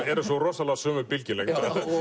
eru svo rosalega á sömu bylgjulengd